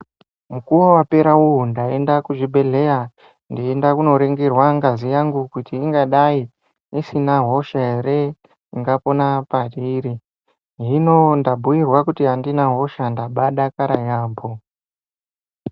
Mukuwo wapera uwo ndaienda kuchibhedhlera koringirwa ngazi yangu kuti ingadai isina hosha ere ingapona pairi, hino ndabhuyirwa kuti handina hosha. Ndabaa dakara yaamho.